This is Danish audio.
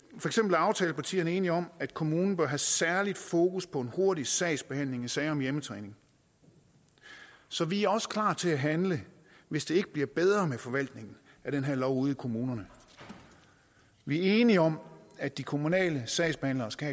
er aftalepartierne enige om at kommunen bør have særligt fokus på hurtig sagsbehandling i sager om hjemmetræning så vi er også klar til at handle hvis det ikke bliver bedre med forvaltningen af den her lov ude i kommunerne vi er enige om at de kommunale sagsbehandlere skal